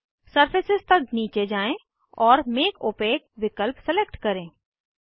surface तक नीचे जाएँ और मेक ओपाक विकल्प सिलेक्ट चुनें